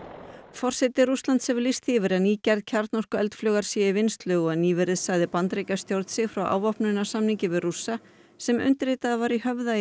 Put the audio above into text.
forseti Rússlands hefur lýst því í yfir að ný gerð sé í vinnslu og nýverið sagði Bandaríkjastjórn sig frá við Rússa sem undirritaður var í Höfða í